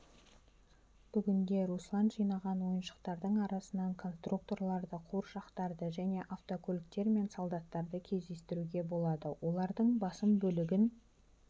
бүгінде руслан жинаған ойыншықтардың арасынан констуркторларды қуыршақтарды және автокөліктер мен солдаттарды кездестіруге болады олардың басым бөлігін